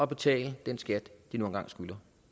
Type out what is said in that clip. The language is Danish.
betalt den skat de nu engang skylder